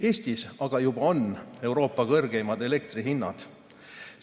Eestis aga juba on Euroopa kõrgeimad elektrihinnad.